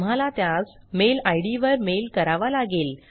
तुम्हाला त्यास mail ID वर मेल करावा लागेल